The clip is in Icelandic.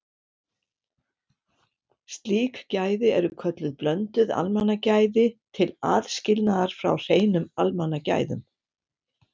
Slík gæði eru kölluð blönduð almannagæði til aðskilnaðar frá hreinum almannagæðum.